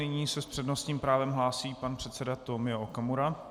Nyní se s přednostním právem hlásí pan předseda Tomio Okamura.